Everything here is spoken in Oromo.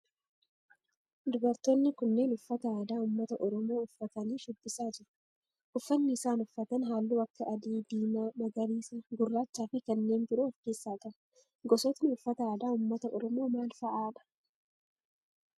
Dubartoonni kunneen uffata aadaa ummata oromoo uffatanii shubbisaa jiru. Uffanni isaan uffatan halluu akka adii, diimaa, magariisa, gurraachaa fi kanneen biroo of keessaa qaba. Gosootni uffata aadaa ummata oromoo maal fa'aadha?